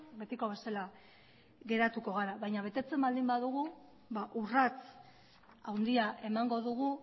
betiko bezala geratuko gara baina betetzen baldin badugu urrats handia emango dugu